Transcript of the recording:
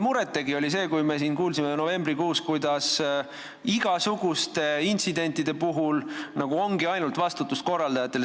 Mulle tegi muret see, kui me siin kuulsime novembrikuus, kuidas igasuguste intsidentide puhul ongi vastutus nagu ainult korraldajatel.